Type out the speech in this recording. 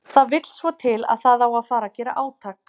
Það vill svo til að það á að fara að gera átak.